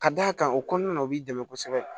Ka d'a kan o kɔnɔna na o b'i dɛmɛ kosɛbɛ